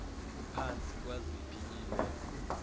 kuphantsi kwaziphi iimeko